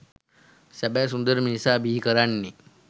සැබෑ සුන්දර මිනිසා බිහි කරන්නේ